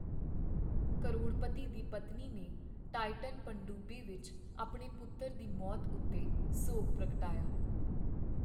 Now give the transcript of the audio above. ਕਰੋੜਪਤੀ ਦੀ ਪਤਨੀ ਨੇ ਟਾਈਟਨ ਪਣਡੁੱਬੀ ਵਿੱਚ ਆਪਣੇ ਪੁੱਤਰ ਦੀ ਮੌਤ ਉੱਤੇ ਸੋਗ ਪ੍ਰਗਟਾਇਆ।